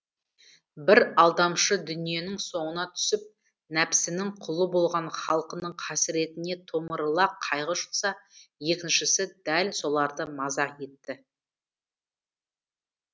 бірі алдамшы дүниенің соңына түсіп нәпсінің құлы болған халқының қасіретіне томырыла қайғы жұтса екіншісі дәл соларды мазақ етті